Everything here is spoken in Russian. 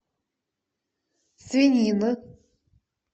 свинина